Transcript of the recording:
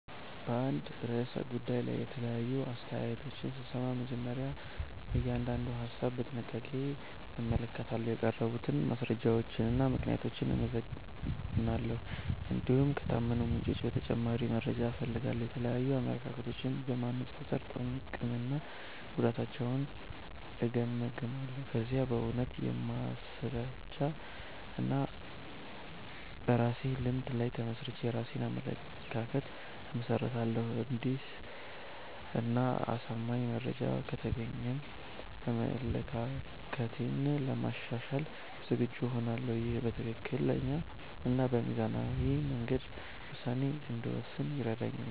በአንድ ርዕሰ ጉዳይ ላይ የተለያዩ አስተያየቶችን ስሰማ፣ መጀመሪያ እያንዳንዱን ሀሳብ በጥንቃቄ እመለከታለሁ። የቀረቡትን ማስረጃዎችና ምክንያቶች እመዝናለሁ፣ እንዲሁም ከታመኑ ምንጮች ተጨማሪ መረጃ እፈልጋለሁ። የተለያዩ አመለካከቶችን በማነጻጸር ጥቅምና ጉዳታቸውን እገመግማለሁ። ከዚያም በእውነታ፣ በማስረጃ እና በራሴ ልምድ ላይ ተመስርቼ የራሴን አመለካከት እመሰርታለሁ። አዲስ እና አሳማኝ መረጃ ከተገኘም አመለካከቴን ለማሻሻል ዝግጁ እሆናለሁ። ይህ በትክክለኛ እና በሚዛናዊ መንገድ ውሳኔ እንድወስን ይረዳኛል።